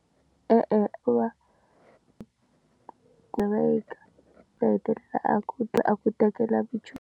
E-e, u va kumeka va hetelela a ku dla a ku tekela vu.